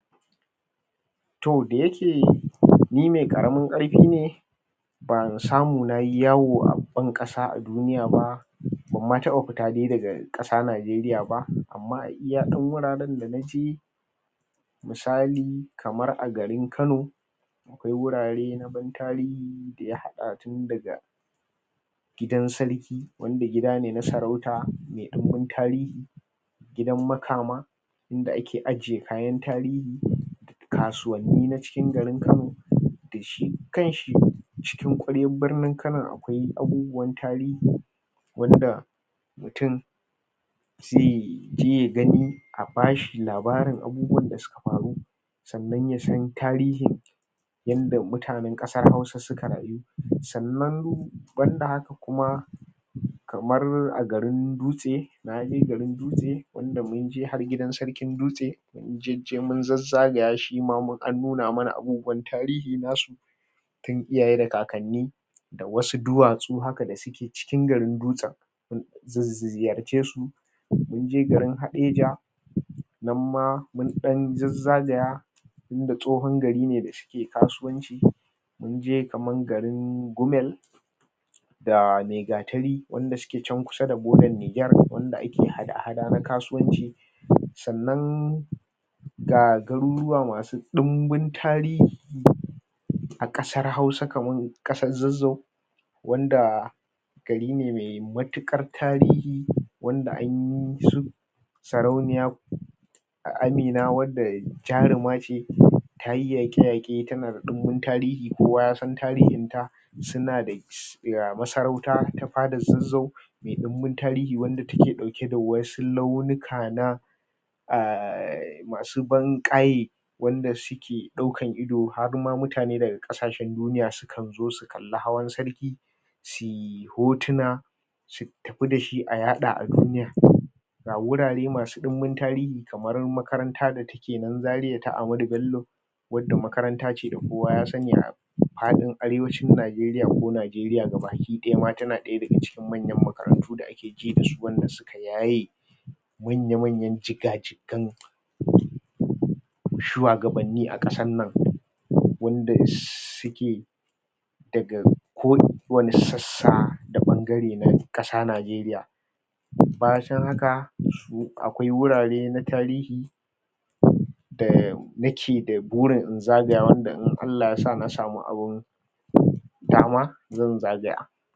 To da yake ni mai ƙaramin ƙarfi ne ban samu na yi yawo a ban-ƙasa a duniya ba, ban ma taɓa fita dai daga ƙasa Najeriya ba, amma a iya wuraren da na je misali, kamar a garin Kano akwai wurare na ban-tarihi da ya haɗa tun daga gidan sarki, wanda gida na sarauta mai ɗimbin tarihi, gidan makama inda ake ajiye kayan tarihi, kasuwanni na cikin garin Kano da shi kan shi cikin ƙwaryar birnin Kanon akwai abubuwan tarihi wanda mutum zai ji ya gani a ba shi labarin abubuwan da suka faru, sannan ya san tarihin yanda mutanen ƙasar Hausa suka rayu. Sannan ban da haka kuma kamar a garin Dutse. Na je garin Dutse wanda mun je har gidan sarkin Dutse, mun jejje mun zazzagaya shi, shi ma an nuna mana abubuwan tarihi nasu tun iyaye da kakanni da wasu duwatsu haka da suke cikin garin Dutsen, su ziyarce su. Mun je garin Hadejia nan ma mun ɗan zazzagaya tunda tsohon gari ne da yake kasuwanci. Mun je kamar garin Gumel da Maigatari wanda suke can kusa da bodar Nijar wanda ake hada-hada na kasuwanci. Sannan ga garuruwa masu ɗimbin tarihi a ƙasar Hausa, kamar ƙasar Zazzau, wanda gari ne mai matuƙar tarihi wanda an yi su Sarauniya Amina wadda jaruma ce. Ta yi yaƙe-yaƙe, tana da ɗimbin tarihi, kowa ya san tarihinta, suna da masarauta ta fadar Zazzau mai ɗimbin tarihi wadda take ɗauke da wasu launuka na um masu ban-ƙaye wanda suke ɗaukan ido har ma mutane daga ƙasashen duniya sukan zo su kalli hawan sarki, su yi hotuna su tafi da shi a yaɗa a duniya. Ga wurare masu ɗimbin tarihi kamar makaranta da take nan Zaria ta Ahmadu Bello wadda makaranta ce da kowa ya sani a faɗin Arewacin Najeriya ko Najeriya ga baki ɗaya ma tana ɗaya daga cikin manyan makarantu da ake ji da su wanda suka yaye manya-manyan jiga-jigan shuwagabanni a ƙasar nan wanda suke daga kowane sassa da ɓangare na ƙasa Najeriya. Bacin haka, akwai wurare na tarihi da nake da burin in zagayawanda in Allah Ya sa na samu abin dama, zan zagaya.